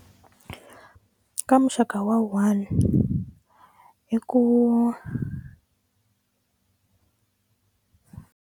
Ka muxaka wa one i ku.